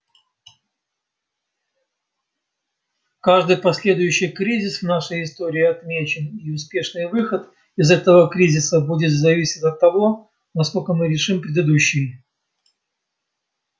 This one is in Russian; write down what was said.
каждый последующий кризис в нашей истории отмечен и успешный выход из этого кризиса будет зависеть от того насколько мы решим предыдущий